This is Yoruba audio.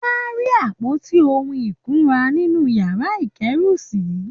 Wọ́n á rí àpótí ohun ìkunra nínú yàrá ìkẹ́rù-sí